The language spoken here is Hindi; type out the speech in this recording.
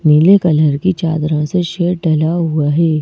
नीले कलर की चांदरों से शेड ढला हुआ है।